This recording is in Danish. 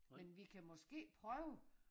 Men vi kan måske prøve